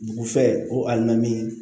Dugu fɛ ko a na min